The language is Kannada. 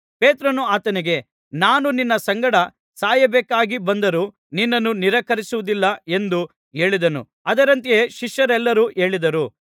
ಪೇತ್ರನು ಆತನಿಗೆ ನಾನು ನಿನ್ನ ಸಂಗಡ ಸಾಯಬೇಕಾಗಿಬಂದರೂ ನಿನ್ನನ್ನು ನಿರಾಕರಿಸುವುದಿಲ್ಲ ಎಂದು ಹೇಳಿದನು ಅದರಂತೆ ಶಿಷ್ಯರೆಲ್ಲರೂ ಹೇಳಿದರು